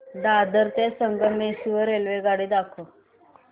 दादर ते संगमेश्वर रेल्वेगाडी दाखव